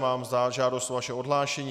Mám žádost o vaše odhlášení.